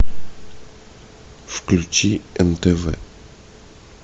включи нтв